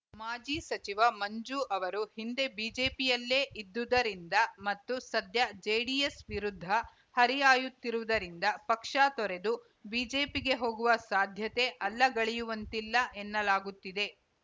ಮಾಜಿ ಸಚಿವ ಮಂಜು ಅವರು ಹಿಂದೆ ಬಿಜೆಪಿಯಲ್ಲೇ ಇದ್ದುದರಿಂದ ಮತ್ತು ಸದ್ಯ ಜೆಡಿಎಸ್‌ ವಿರುದ್ಧ ಹರಿಹಾಯುತ್ತಿರುವುದರಿಂದ ಪಕ್ಷ ತೊರೆದು ಬಿಜೆಪಿಗೆ ಹೋಗುವ ಸಾಧ್ಯತೆ ಅಲ್ಲಗಳೆಯುವಂತಿಲ್ಲ ಎನ್ನಲಾಗುತ್ತಿದೆ